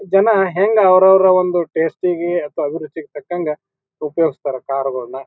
ಜನ ಹೆಂಗ ಅವ್ರವ್ರ ಒಂದು ಟೇಸ್ಟ್ ಇಗೆ ಅಥವಾ ಅಭಿರುಚಿಗೆ ತಕಂಗ ಉಪಯೋಗಿಸುತ್ತಾರ ಕಾರ್ ಗೋಳನ್ನ .